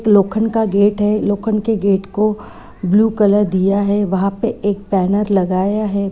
लोखंड का गेट है। लोखंड के गेट को ब्लू कलर दिया है। वहाँ पे एक बैनर लगाया है।